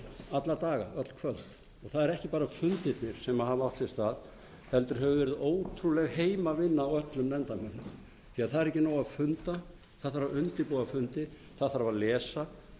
alla daga öll kvöld og það eru ekki bara fundirnir sem hafa átt sér stað heldur hefur verið ótrúleg heimavinna á öllum nefndarmönnum því það er ekki nóg að funda það þarf að undirbúa fundi það þarf að lesa